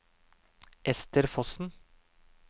Esther Fossen